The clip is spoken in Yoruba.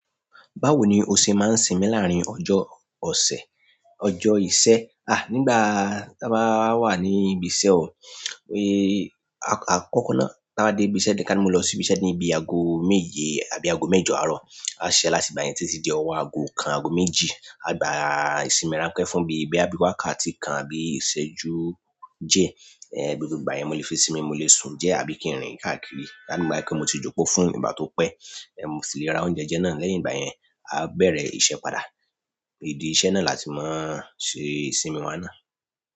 Báwo ni ose maa n simi larin ọjọ ọ̀sẹ̀, ọjọ ìṣẹ̀, a nígbà táa bá wà ní ibi iṣẹ́ ò a kọ́kọ́ náà táa bá dé ibi iṣẹ́ ni kí a ni mo lọ sí ibi iṣẹ́ ní bi aago méje tàbí aago mẹ́jọ àárọ̀, a ṣẹ láti ìgbà yẹn títí di ọwọ aago kan aago méjì a gba ìsinmi ran pẹ́ fún bí i boya bi wàkáti kan àbí ìṣẹ́ ju diẹ, bí gbogbo ìgbà yẹn mo le fi sinmi mo le sun díẹ̀ àbí kí n rìn káàkiri ka ní gbogbo ìgbà yẹn ka ni mo ti jókòó fún ìgbà tó pẹ́, mo sì lè ra oúnjẹ jẹ́ náà, lẹ́yìn ìgbà yẹn a bẹ̀rẹ̀ iṣẹ́ padà. Idi iṣẹ́ náà láti mo ṣe ìsinmi wa náà.